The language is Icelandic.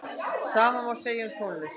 Sama má segja um tónlist.